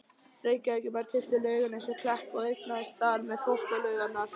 Reykjavíkurbær keypti Laugarnes og Klepp og eignaðist þar með Þvottalaugarnar.